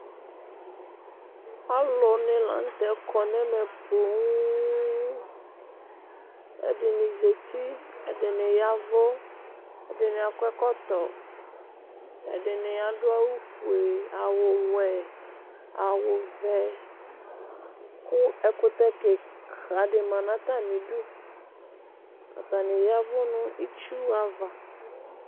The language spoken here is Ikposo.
Alʋnɩ la nʋtɛ kɔ nɛmɛ ƒoo ɛdɩnɩ zati ɛdɩnɩ yavʋ ɛdɩnɩ akɔ ɛkɔtɔ ɛdɩnɩ adʋ awʋ fʋe awʋ wɛ awʋ vɛ kʋ ɛkʋtɛ kɩka ya nʋ atamɩdʋ atanɩ yavʋ nʋ ɩtsʋava